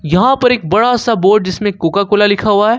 यहां पर एक बड़ा सा बोर्ड जिसमें कोका कोला लिखा हुआ है।